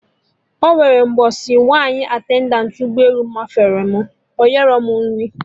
Ọnwere mgbọsị nwaanyị attendant ụgbọ elu mafere m, onyerọ m nri